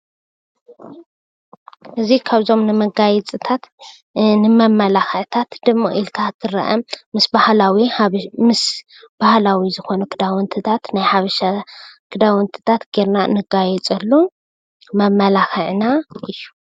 እዚ ካብዞም ንመጋየፂታት ንመመላክዕታት ድምቅ ኢልካ ንክትርአ ምስ ባህላዊ ዝኮኑ ክዳውንትታት ናይ ሓበሻ ክዳውንትታት ገይርና ንጋየፀሉ መመላክዕና እዩ።